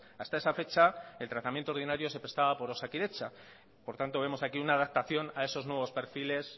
hasta esa fecha el tratamiento ordinario se prestaba por osakidetza por tanto vemos aquí una adaptación a esos nuevos perfiles